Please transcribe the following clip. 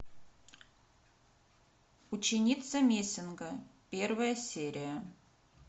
ученица мессинга первая серия